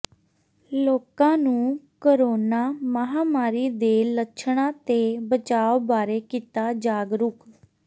ਲੋਕਾਂ ਨੂੰ ਕੋਰੋਨਾ ਮਹਾਮਾਰੀ ਦੇ ਲੱਛਣਾਂ ਤੇ ਬਚਾਅ ਬਾਰੇ ਕੀਤਾ ਜਾਗਰੂਕ